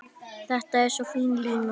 Þetta er svo fín lína.